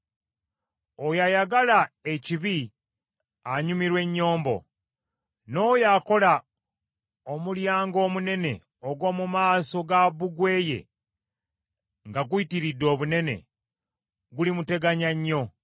Oyo ayagala ekibi anyumirwa ennyombo, n’oyo akola omulyango omunene ogw’omu maaso gwa bbugwe ye nga guyitiridde obunene gulimuteganya nnyo.